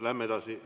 Lähme edasi.